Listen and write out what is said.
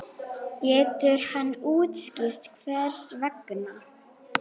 Getur hann útskýrt hvers vegna?